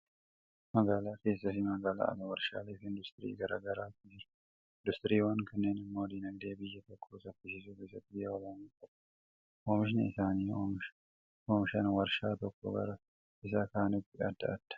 Magaalaa keessaa fi magaalaan ala warshaalee fi industirii gara gargaaru jira. Industiriiwwan kanneen immoo diinagdee biyya tokkoo saffisiisuu keessatti ga'ee olaanaa qaba. Oomishni isaan oomishan warshaa tokkoo gara isa kaaniitti adda adda.